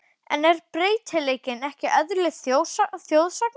En er breytileikinn ekki eðli þjóðsagna?